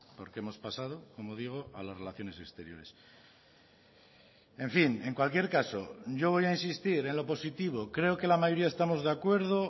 porque hemos pasado como digo a las relaciones exteriores en fin en cualquier caso yo voy a insistir en lo positivo creo que la mayoría estamos de acuerdo